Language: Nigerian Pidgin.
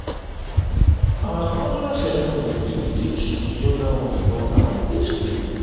our cultural ceremonies dey teach di younger ones about our history.